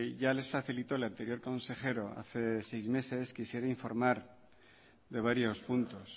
ya les facilitó el anterior consejero hace seis meses quisiera informar de varios puntos